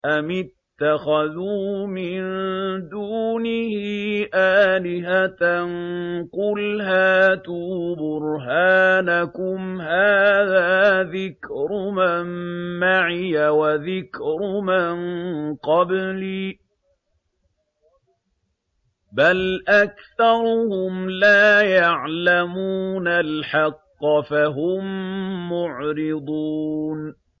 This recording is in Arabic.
أَمِ اتَّخَذُوا مِن دُونِهِ آلِهَةً ۖ قُلْ هَاتُوا بُرْهَانَكُمْ ۖ هَٰذَا ذِكْرُ مَن مَّعِيَ وَذِكْرُ مَن قَبْلِي ۗ بَلْ أَكْثَرُهُمْ لَا يَعْلَمُونَ الْحَقَّ ۖ فَهُم مُّعْرِضُونَ